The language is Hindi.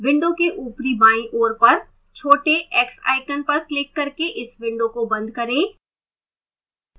window की ऊपरी बाईं ओर पर छोटे x icon पर क्लिक करके इस window को बंद करें